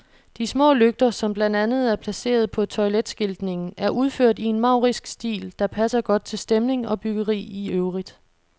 De små lygter, som blandt andet er placeret på toiletskiltningen, er udført i en maurisk stil, der passer godt til stemning og byggeri i øvrigt.